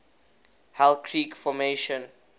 hell creek formation